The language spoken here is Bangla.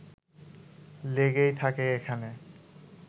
লেগেই থাকে এখানে